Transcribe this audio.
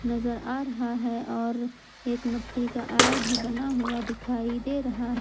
नजर आ रहा है और एक मट्टी का आर भी बना हुआ दिखाई दे रहा--